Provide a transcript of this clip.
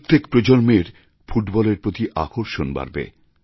প্রত্যেক প্রজন্মের ফুটবলের প্রতি আকর্ষণ বাড়বে